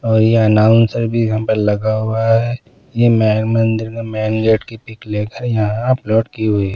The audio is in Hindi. और ये अनाउंसर भी यहाँ पर लगा हुआ है ये मेन मंदिर में मेन गेट की पिक लेकर यहाँ अपलोड की हुई है।